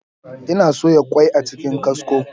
Ina soya ƙwai a cikin kwasko.